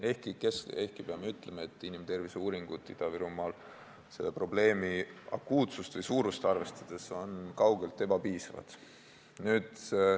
Ehkki peab ütlema, et inimterviseuuringud Ida-Virumaal on selle probleemi akuutsust või suurust arvestades ebapiisavad.